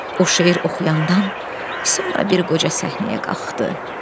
O şeir oxuyandan sonra bir qoca səhnəyə qalxdı.